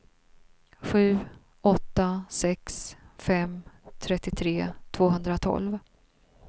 sju åtta sex fem trettiotre tvåhundratolv